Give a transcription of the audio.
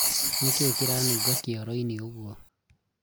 nĩkĩĩ kĩranunga kĩoro-inĩ ũguo?